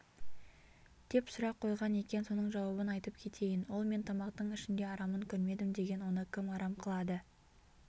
деп сұрақ қойған екен соның жауабын айтып кетейін ол мен тамақтың ішінде арамын көрмедім деген оны кім арам қылады